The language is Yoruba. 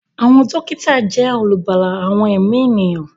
Àwọn dókítà jẹ́ olùgbàlà àwọn ẹ̀mí ènìyàn